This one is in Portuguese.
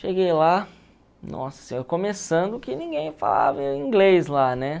Cheguei lá, nossa senhora, começando que ninguém falava inglês lá, né?